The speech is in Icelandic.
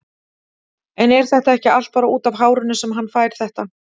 En er þetta ekki allt bara útaf hárinu sem hann fær þetta?